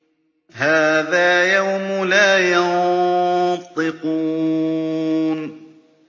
هَٰذَا يَوْمُ لَا يَنطِقُونَ